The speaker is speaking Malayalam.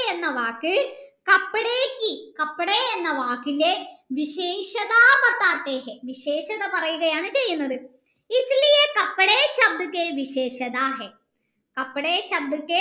എന്ന വാക് എന്ന വാക്കിൻ്റെ വിശേഷത പറയുകയാണ് ചെയ്യുന്നത്